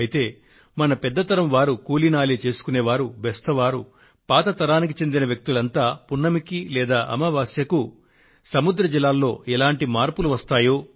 అయితే మన పెద్ద తరం వారు కూలి నాలి చేసుకునే వారు బెస్త వారు పాత తరానికి చెందిన వ్యక్తులంతా పున్నమికి లేదా అమావాస్యకు సముద్ర జలాల్లో ఎటువంటి మార్పులు వస్తాయో